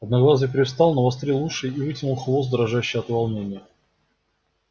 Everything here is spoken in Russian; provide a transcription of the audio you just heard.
одноглазый привстал навострил уши и вытянул хвост дрожащий от волнения